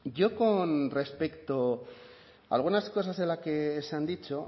yo con respecto a algunas cosas de las que se han dicho